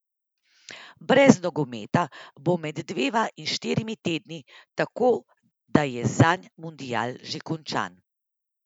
Brez nogometa bo med dvema in štirimi tedni, tako da je zanj mundial že končan.